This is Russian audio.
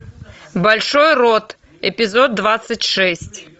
большой рот эпизод двадцать шесть